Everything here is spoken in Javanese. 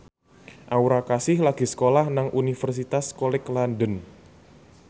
Aura Kasih lagi sekolah nang Universitas College London